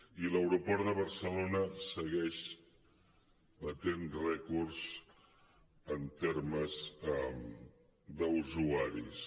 i l’aeroport de barcelona segueix batent rècords en termes d’usuaris